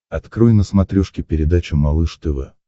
открой на смотрешке передачу малыш тв